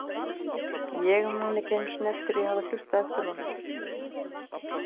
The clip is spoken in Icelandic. Ég man ekki einu sinni eftir því að hafa hlustað eftir honum.